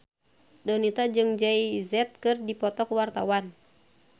Donita jeung Jay Z keur dipoto ku wartawan